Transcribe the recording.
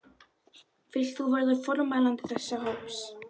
Vilt þú verða formælandi þess hóps?